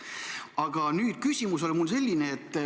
Aga küsimus on mul selline.